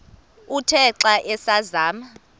uthe xa asazama